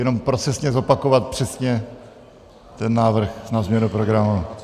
Jenom procesně zopakovat přesně ten návrh na změnu programu.